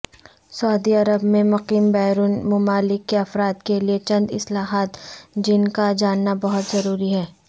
سعودی Arab میں مقیم بیرون ممالک کے افرادکے لئے چنداصطلاحات جن کاجاننابہت ضروری ہے